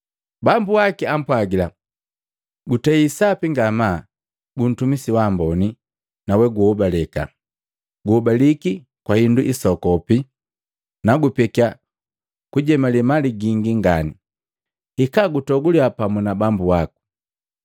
Bambu waki apwagila, ‘Gutei sapi ngamaa, guntumisi wa amboni na woguhobaleka, guhobaliki kwa hindu hisoku, nagupekiya kujemale mali gingi ngani. Hika gutoguliya pamu na bambu waku.’